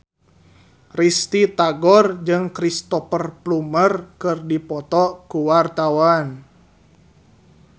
Risty Tagor jeung Cristhoper Plumer keur dipoto ku wartawan